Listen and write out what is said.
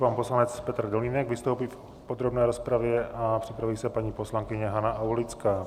Pan poslanec Petr Dolínek vystoupí v podrobné rozpravě a připraví se paní poslankyně Hana Aulická.